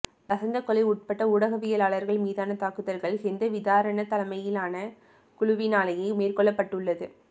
லசந்த கொலை உட்பட ஊடகவிலாளர்கள் மீதான தாக்குதல்கள் ஹெந்தவிதாரன தலைமையிலான குழுவினாலேயே மேற்கொள்ளப்பட்டுள்ளது